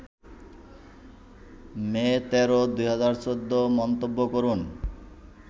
মে ১৩, ২০১৪ মন্তব্য করুন